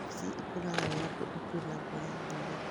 Kabeci ĩkũraga wega kũndũ kwĩna mbura ya mũiganĩra.